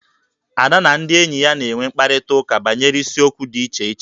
Ada na ndị enyi ya na-enwe mkparịtaụka banyere isiokwu dị iche iche